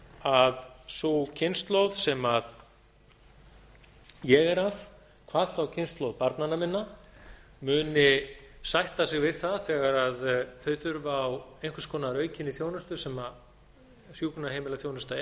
að sú kynslóð sem ég er af hvað þá kynslóð barnanna minna muni sætta sig við það þegar þau þurfa á einhvers konar aukinni þjónustu sem hjúkrunarheimilaþjónustu er